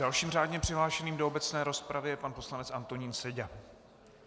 Dalším řádně přihlášeným do obecné rozpravy je pan poslanec Antonín Seďa.